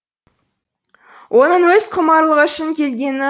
оның өз құмарлығы үшін келгені